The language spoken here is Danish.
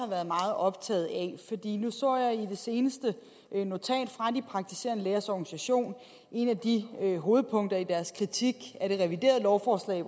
været meget optaget af nu så jeg i det seneste notat fra de praktiserende lægers organisation et af de hovedpunkter i deres kritik af det reviderede lovforslag